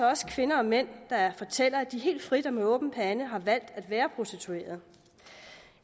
også kvinder og mænd der fortæller at de helt frit og med åben pande har valgt at være prostituerede